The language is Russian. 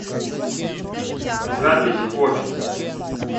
запись обь